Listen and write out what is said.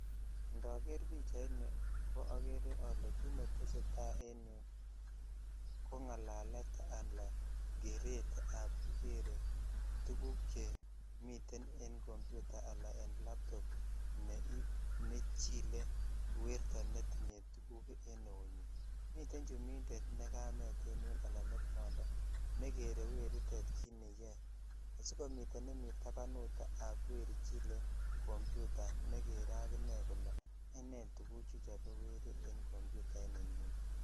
Ndaker pichaini ko kit njeakere ale tesetai eng yu ko ng'alalet anan keretap kikere tuguk chemite eng computer anan eng laptop nechile werto netinye tuguk eng eunyi. Mite chumbindet ne kamet eng yun anan ko kwondo nekere werit at kit neyoe asikomi nemite tapanutap weri chile computer nekere akine kole ene tuguchu chekikere eng computer inenyinet.